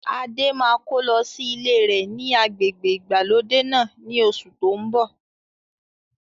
Adé máa ko lọ sí ilé rẹ ni agbègbè ìgbàlódé náà ni oṣù to ń bọ̀